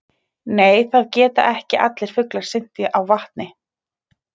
Nei það geta ekki allir fuglar synt á vatni.